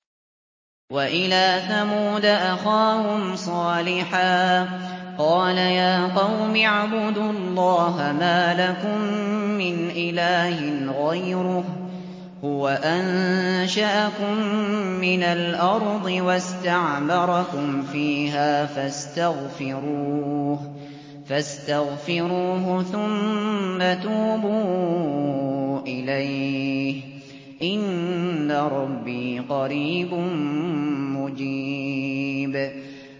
۞ وَإِلَىٰ ثَمُودَ أَخَاهُمْ صَالِحًا ۚ قَالَ يَا قَوْمِ اعْبُدُوا اللَّهَ مَا لَكُم مِّنْ إِلَٰهٍ غَيْرُهُ ۖ هُوَ أَنشَأَكُم مِّنَ الْأَرْضِ وَاسْتَعْمَرَكُمْ فِيهَا فَاسْتَغْفِرُوهُ ثُمَّ تُوبُوا إِلَيْهِ ۚ إِنَّ رَبِّي قَرِيبٌ مُّجِيبٌ